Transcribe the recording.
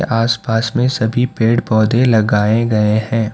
आस पास में सभी पेड़ पौधे लगाए गए हैं।